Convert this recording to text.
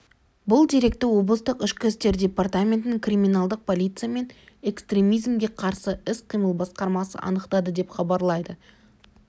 бұл деректі облыстық ішкі істер департаментінің криминалдық полиция мен экстремизмге қарсы іс-қимыл басқармасы анықтады деп хабарлайды